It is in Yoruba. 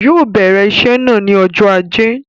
Yóò bèrè iṣé náà ni ọjọ́ ajé.